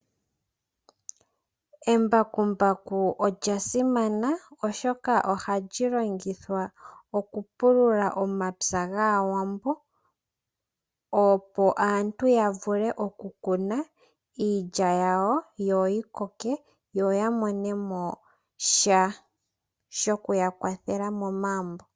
Embakumbaku olya simana oshoka ohalyi longithwa okupulula omapya gAawambo, opo aantu ya vule okukuna iilya yawo yo yi koke yo ya monemo sha, shoku ya kwathela momagumbo.